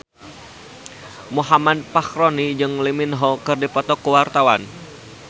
Muhammad Fachroni jeung Lee Min Ho keur dipoto ku wartawan